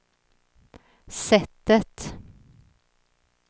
sättet